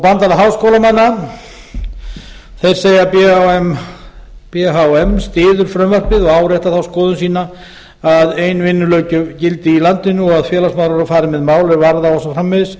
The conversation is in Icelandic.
bandalag háskólamanna segja b h m styður frumvarpið og áréttar þá skoðun sína að ein vinnulöggjöf gildi í landinu og að félagsmálráðhera fari með mál er varða og svo framvegis